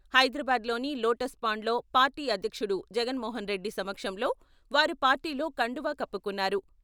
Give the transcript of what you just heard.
హైదరాబాద్ లోని లోటస్ పాండ్లో పార్టీ అధ్యక్షుడు జగన్మోహన్రెడ్డి సమక్షంలో వారు పార్టీలో కండువా కప్పుకున్నారు.